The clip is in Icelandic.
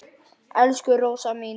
Elsku Rósa mín.